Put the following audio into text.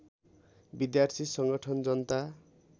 विद्यार्थी संगठन जनता